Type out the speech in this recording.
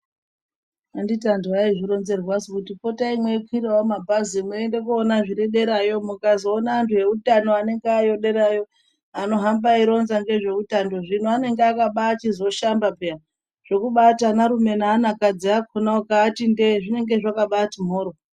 Anditi andu aizvironzerwa su kuti potai mwei kwirawo mabhazi mweinda kunoonawo zviriderayo mukazoona antu eutano anenge ayodera yo anohamba eironza ngezve utando zvino nenge akabachizo shamaba paini zvekuti anarume neana kadzi ukaati ndee zvinenge zvakabati mhoryo